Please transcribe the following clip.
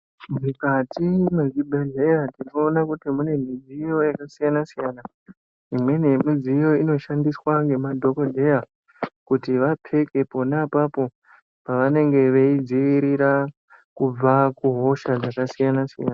Mukati mezvibhedhleya tinowona kuti mune midziyo yakasiyana siyana. Imweni yemidziyo iyoyo inoshandiswa ngemadhokodheya kuti vapfeke khona papo pavanenge veyidzivirira kubva kuhosha dzakasiyana siyana.